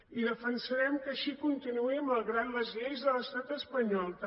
i defensarem que així continuï malgrat les lleis de l’estat espanyol també